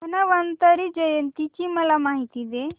धन्वंतरी जयंती ची मला माहिती दे